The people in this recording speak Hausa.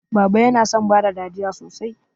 Baba yana son bada dariya sosai.